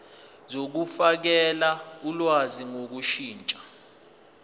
zokufakela ulwazi ngokushintsha